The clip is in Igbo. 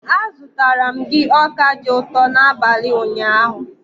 Azụtara m gị ọka dị ụtọ n'abalị ụnyaahụ.